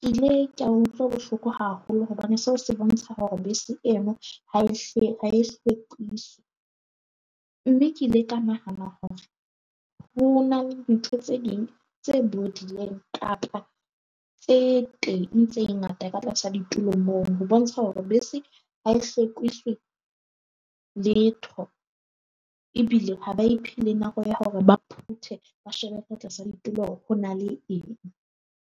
Ke ile ka utlwa bohloko haholo hobane seo se bontsha hore bese eno ha e hlile ha e hlwekiswi. Mme ke ile ka nahana hore ho na le ntho tse ding tse bodileng kapa tse teng tse ngata ka tlasa ditulong moo, ho bontsha hore bese ha e hlwekiswi letho ebile ha ba iphe le nako ya hore ba phuthe ba shebe ka tlasa ditulo hore na ho na le eng.